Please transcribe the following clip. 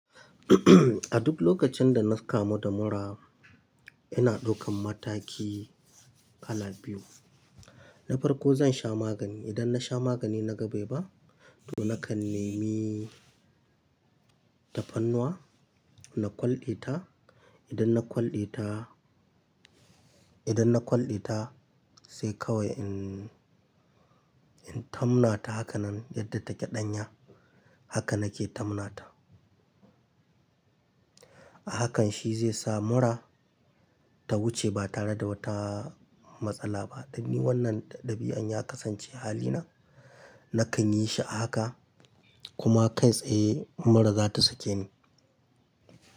A duk lokacin da na kamu da mura, ina ɗaukan mataki kala biyu. Na farko zan sha magani. Idan na sha magani na ga beba, to nakan nemi tafarnuwa na kwalɗe ta. Idan na kwalɗe ta, idan na kwalɗe ta sai kawai in, in tamna ta haka nan yadda take ɗanya haka nake tamna ta. A hakan shi zai sa mura ta wuce ba tare da wata matsala ba. Dan ni wannan ɗabi'an ya kasance halina. Nakan yi shi a haka kuma kai tsaye mura za ta sake ni.